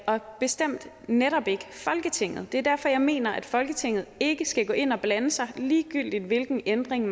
og bestemt netop ikke folketinget det er derfor jeg mener at folketinget ikke skal gå ind og blande sig ligegyldigt hvilken ændring